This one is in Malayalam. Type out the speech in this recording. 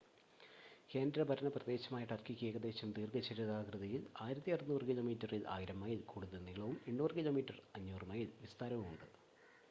കേന്ദ്രഭരണപ്രദേശമായ ടർക്കിക്ക് ഏകദേശം ദീർഘചതുരാകൃതിയിൽ 1,600 കിലോമീറ്ററിൽ 1,000 മൈല്‍ കൂടുതൽ നീളവും 800 കിലോമീറ്റർ 500 മൈല്‍ വിസ്താരവും ഉണ്ട്